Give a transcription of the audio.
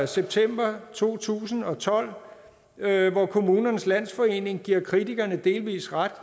september to tusind og tolv hvor kommunernes landsforening giver kritikerne delvis ret